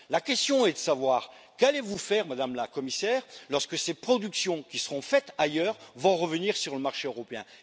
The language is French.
La question est de savoir ce que vous allez faire, Madame la Commissaire, lorsque ces productions qui seront faites ailleurs vont revenir sur le marché européen.